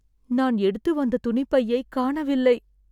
நான் எடுத்து வந்த துணிப்பையை காணவில்லை